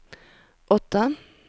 åtta